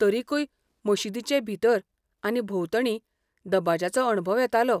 तरीकूय मशीदीचे भितर आनी भोंवतणी दबाज्याचो अणभव येतालो.